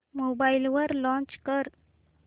mobile वर launch कर